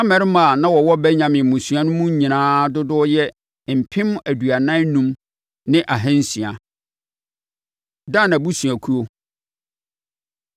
Na mmarima a na wɔwɔ Benyamin mmusua no mu nyinaa dodoɔ yɛ mpem aduanan enum ne ahansia (45,600). Dan Abusuakuo